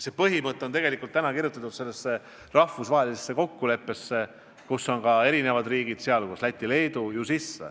See põhimõte on tegelikult kirjutatud sellesse rahvusvahelisse kokkuleppesse, millega on ühinenud teisedki riigid, sh Läti ja Leedu.